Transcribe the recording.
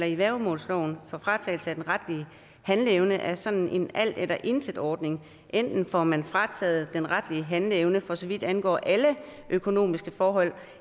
i værgemålsloven for fratagelse af den retlige handleevne er sådan en alt eller intet ordning enten får man frataget den retlige handleevne for så vidt angår alle økonomiske forhold